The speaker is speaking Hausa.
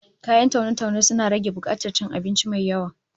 Kayan taune-taune suna rage bukatar cin abinci mai yawa